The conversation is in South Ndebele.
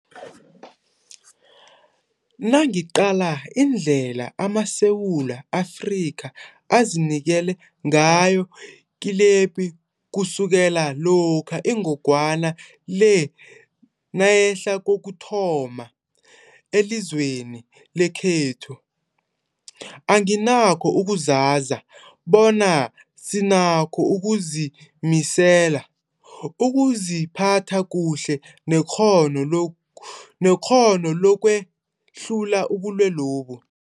Nangiqala indlela amaSewula Afrika azinikele ngayo kilepi kusukela lokha ingogwana le nayehlela kokuthoma elizweni lekhethu, anginakho ukuzaza bona sinakho ukuzimisela, ukuziphatha kuhle nekghono lokwehlula ubulwelobu.